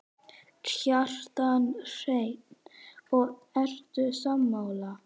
Kjartan Hreinn: Og ertu sammála?